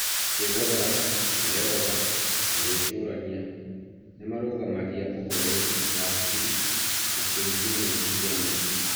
kwĩnogora na yoga na gwĩcurania nĩ marũgamagia ũhoreru wa hakiri na kũnyihia meciria maingĩ.